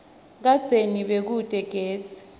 kadzeni bekute gesi